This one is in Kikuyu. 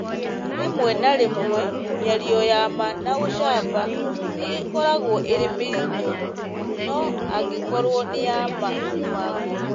rĩmwe na rĩmwe mĩario ya ma na ũcamba nĩ ĩkoragwo ĩrĩ mĩritũ, no angĩkorũo nĩ ya ma kuuma ngoro,